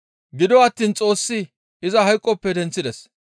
Gido attiin Xoossi iza hayqoppe denththides.